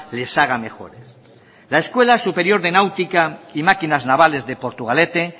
les haga mejores la escuela superior de náutica y máquinas navales de portugalete